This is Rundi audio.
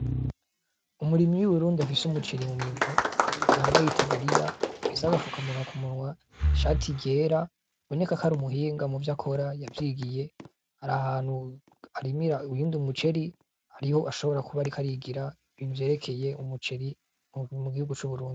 Umurimyi w'i Burundi afise umuceri mu minwe yambaye itaburiya afise agapfukamunwa ku munwa, ishati ryera biboneka ko ari umuhinga muvyo akora yavyigiye, ari ahantu arimira uyundi muceri ariho ashobora kuba ariko arigira ibintu vyerekeye umuceri mu gihugu c'Uburundi.